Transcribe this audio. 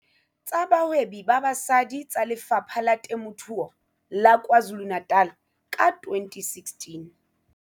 Tsa Bahwebi ba Basadi tsa Lefapha la Temothuo la KwaZulu-Natal ka 2016.